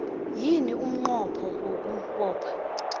yini umnqopho wokubopha